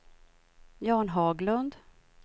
Jan Haglund